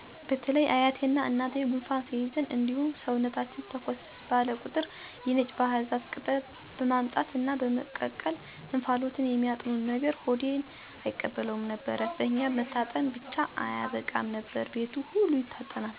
በተለይ አያቴና እናቴ ጉንፋን ሲይዘን እንዲሁም ሰውነታችን ተኮስ ባለ ቁጥር የነጭ ባህር ዛፍ ቅጠል በማምጣት እና በመቀቀል እንፋሎቱን የሚያጥኑን ነገር ሆዴ አይቀበለውም ነበር። በኛ መታጠን ብቻ አያበቃም ነበር፤ ቤቱ ሁሉ ይታጠናል። ይሄን ነገር በጣም ነበር የምጠላው በተለይ ጉንፋን ከመጣ ሁሉ ነገር ባህርዛፍ ባህር ዛፍ ስለሚሸተኝ እናቴን መቼ ነው ግን የምትሰለጥኑትና ይሄንን ነገር የምታቆሙት እላት ነበር። ዛሬ በእኔ እድሜ ሳይቀር ሀኪሞች ጉንፋን ሲይዛችሁ በአካባቢያችሁ ካለ የነጭ ባህር ዛፍ ቅጠል ቀቅላችሁ በእንፋሎቱ ታጠኑ ብለው ሲመክሩና በዘመናዊ መንገድ ደግሞ ተቀምሞና ዘይት ሆኖ በየመድሀኒት ቤቶች ሲሸጥ ሳይ ጠቀሚነቱ ገርሞኛል። ምሳሌ(የነጭ ባህር ዛፍ ቅጠልን በመቀቀልና በእንፋሎቱ መታጠን)